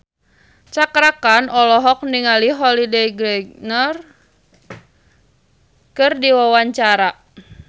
Cakra Khan olohok ningali Holliday Grainger keur diwawancara